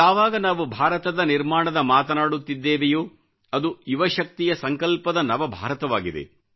ಯಾವಾಗ ನಾವು ಭಾರತದ ನಿರ್ಮಾಣದ ಮಾತನಾಡುತ್ತಿದ್ದೇವೆಯೋ ಅದು ಯುವಶಕ್ತಿಯ ಸಂಕಲ್ಪದ ನವಭಾರತವಾಗಿದೆ